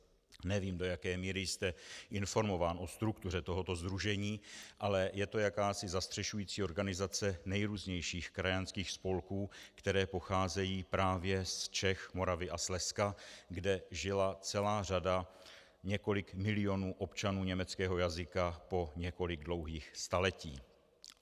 Nevím, do jaké míry jste informován o struktuře tohoto sdružení, ale je to jakási zastřešující organizace nejrůznějších krajanských spolků, které pocházejí právě z Čech, Moravy a Slezska, kde žila celá řada, několik milionů, občanů německého jazyka po několik dlouhých staletí.